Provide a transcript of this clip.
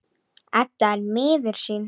Edda er miður sín.